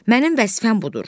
Mənim vəzifəm budur.